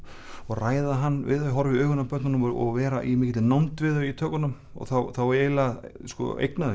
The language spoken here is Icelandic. ræða hann við þau horfa í augun á börnunum og vera í mikilli nánd við þau í tökunum og þá eiginlega eigna þau